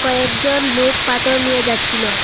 কয়েকজন লোক পাথর নিয়ে যাচচিলো।